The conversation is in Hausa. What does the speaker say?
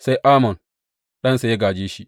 Sai Amon ɗansa ya gāje shi.